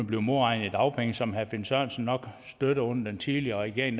blive modregnet i dagpengene som herre finn sørensen nok støttede under den tidligere regering